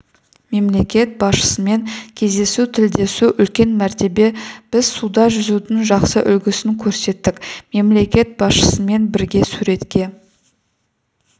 мемлекет басшысымен кездесу тілдесу үлкен мәртебе біз суда жүзудің жақсы үлгісін көрсеттік мемлекет басшысымен бірге суретке